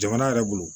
Jamana yɛrɛ bolo